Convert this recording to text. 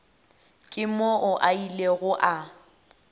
ke moo a ilego a